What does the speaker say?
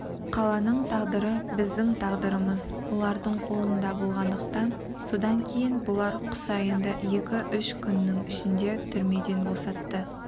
қаланың тағдыры біздің тағдырымыз бұлардың қолында болғандықтан содан кейін бұлар құсайынды екі-үш күннің ішінде түрмеден босатты